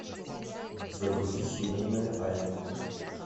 загрузи семейная тайна